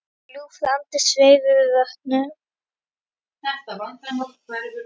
Ljúfur andi sveif yfir vötnum.